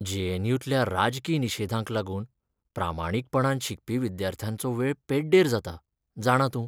JNU. तल्या राजकी निशेधांक लागून प्रामाणीकपणान शिकपी विद्यार्थ्यांचो वेळ पिड्डेर जाता, जाणा तूं!